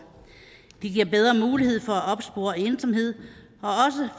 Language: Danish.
det giver bedre mulighed for at opspore ensomhed